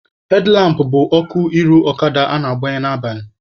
Hedlampụ bụ ọkụ iru ọkada a na-agbanye n'abalị.